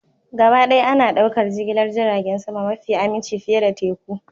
Gabaɗaya ana ɗaukar jigilar jiragen sama mafi aminci fiye da teku